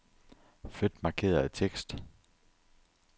Flyt markerede tekst.